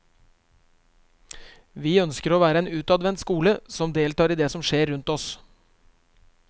Vi ønsker å være en utadvendt skole som deltar i det som skjer rundt oss.